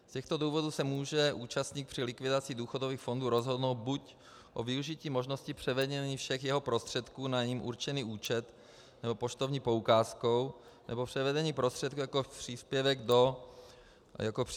Z těchto důvodů se může účastník při likvidaci důchodových fondů rozhodnout buď o využití možnosti převedení všech jeho prostředků na jím určený účet nebo poštovní poukázkou, nebo převedení prostředků jako příspěvku do třetího pilíře.